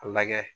A lagɛ